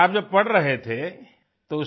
अच्छा आप जब पढ़ रहे थे तो